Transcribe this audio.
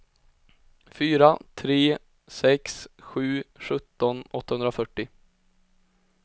fyra tre sex sju sjutton åttahundrafyrtio